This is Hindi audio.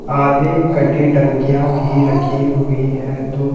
आधी कटी टंकियां भी रखी हुई हैं धूप--